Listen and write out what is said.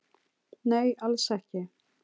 Nei, alls ekki